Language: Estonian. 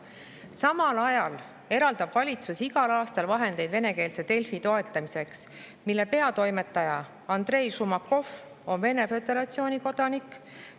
Samal ajal eraldab valitsus igal aastal vahendeid venekeelse Delfi toetamiseks, mille peatoimetaja Andrei Šumakov on Vene föderatsiooni kodanik.